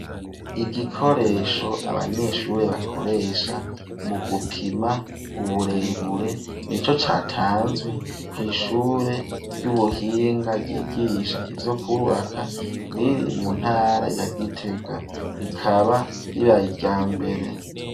Igikoresho ,abanyeshure bakoresha, mu gupima uburebure, ni co catanzwe kw'ishure ry'ubuhinga, ryigisha ivyo kubaka, riri mu ntara ya gitega, rikaba ribaryambere.